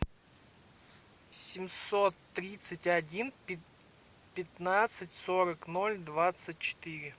семьсот тридцать один пятнадцать сорок ноль двадцать четыре